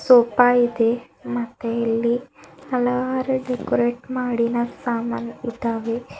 Sofa ಇದೆ ಮತ್ತೆ ಇಲ್ಲಿ ಹಲವಾರು ಡೆಕೋರೇಟ್ ಮಾಡಿದ ಸಾಮಾನ್ ಇದಾವೆ.